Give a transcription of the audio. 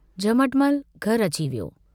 झमटमल घर अची वियो।